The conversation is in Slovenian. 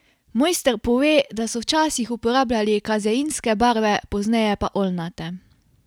Mojster pove, da so včasih uporabljali kazeinske barve, pozneje pa oljnate.